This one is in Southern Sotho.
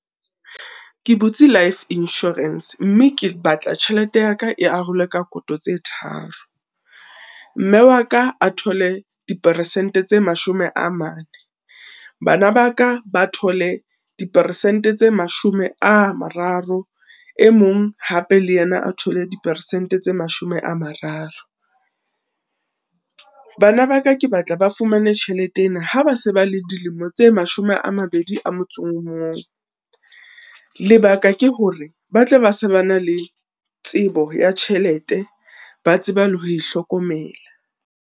Ke butse Life Insurance, mme ke batla tjhelete ya ka e arolwe ka koto tse tharo. Mme wa ka a thole di peresente tse mashome a mane, bana ba ka ba thole di peresente tse mashome a mararo, e mong hape le yena a thole di peresente tse mashome a mararo. Bana ba ka ke batla ba fumane tjhelete ena ha ba se ba le dilemo tse mashome a mabedi a motso o mong. Lebaka ke hore ba tla be se ba na le tsebo ya tjhelete, ba tseba le ho e hlokomela.